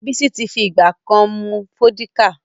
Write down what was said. Bísí ti fi ìgbà ká mú Fọ́díkà